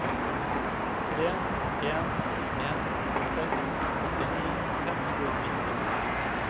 tre en en seks åttini fem hundre og nitten